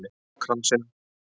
Hefur það gott á kransinum